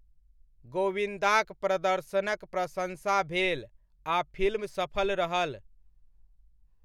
गोविन्दाक प्रदर्शनक प्रशन्सा भेल आ फिल्म सफल रहल।